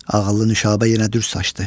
Ağıllı Nüşabə yenə düz saçdı.